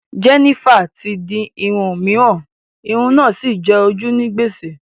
Jennifer ti di irun òmíràn, irun náà sì jẹ ojú ní gbèsè